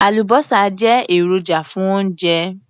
Àlùbọ́sà jẹ́ èròjà fún oúnjẹ.